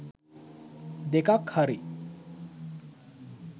දෙකක් හරි